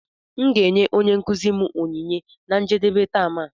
M ga-enye onye nkuzi m onyinye na njedebe tem a